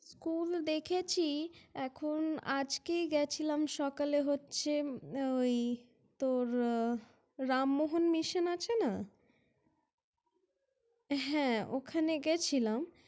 School দেখেছি ।এখন আজকেই গেছিলাম সকালে হচ্ছে ওই তোর রামমোহন Mission আছে না? হ্যাঁ ওখানে গেছিলাম।